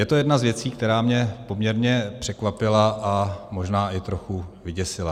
Je to jedna z věcí, která mě poměrně překvapila a možná i trochu vyděsila.